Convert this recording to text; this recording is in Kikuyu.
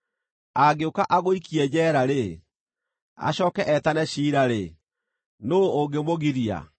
“Angĩũka agũikie njeera-rĩ, acooke etane ciira-rĩ, nũũ ũngĩmũgiria?